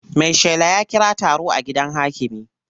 Maishela ya kira taro a gidan hakimi.